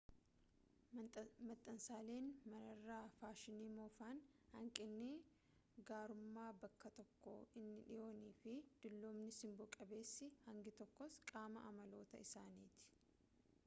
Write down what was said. maxxansaaleen manarraa faashinii moofaan hanqinni gaarummaa bakka tokkoo inni dhiyoon fi dullumni simbo qabeessi hangi tokkos qaama amaloota isaaniiti